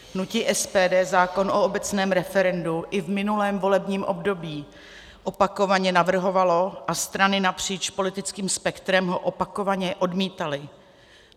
Hnutí SPD zákon o obecné referendu i v minulém volebním období opakovaně navrhovalo a strany napříč politickým spektrem ho opakovaně odmítaly.